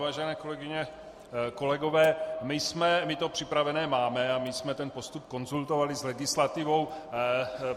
Vážené kolegyně, kolegové, my to připravené máme a my jsme ten postup konzultovali s legislativou.